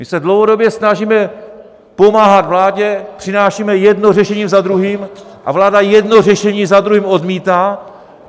My se dlouhodobě snažíme pomáhat vládě, přinášíme jedno řešení za druhým a vláda jedno řešení za druhým odmítá.